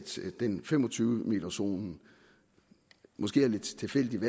fem og tyve m zonen måske er lidt tilfældigt